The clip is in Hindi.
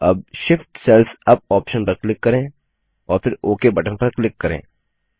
अब Shift सेल्स यूपी ऑप्शन पर क्लिक करें और फिर ओक बटन पर क्लिक करें